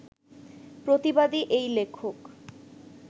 প্রতিবাদী এই লেখক